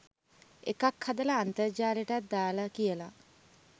එකක් හදලා අන්තර්ජාලෙටත් දාලා කියලා